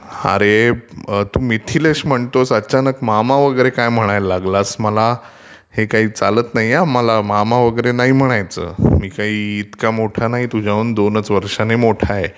अरे तू मिथिलेश म्हणतोस अचानक मामा वगैरे काय म्हणायला लागलास मला, हे काही चालत नाही मला. मामा वगैरे नाही म्हणायचं मला. मी काही इतका मोठा नाही तुझ्यापेक्षा दोनचं वर्षांनी मोठा आहे.